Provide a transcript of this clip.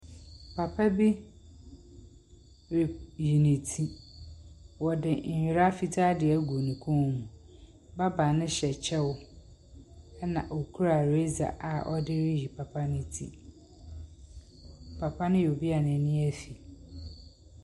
Papa bi reyi ne ti. Ɔde ndwira fitaa ɛgu ne kom mu. Barber no hyɛ kyɛw ɛna ɔkura razor a ɔde reyi papa no ti. Papa no yɛ obia n'ani ɛfi.